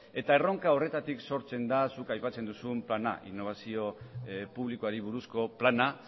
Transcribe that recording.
erronka horretatik sortzen da zuk aipatzen duzun plana berrikuntza publikoari buruzko plana